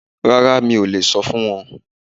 Rárá mi ò lè sọ fún wọn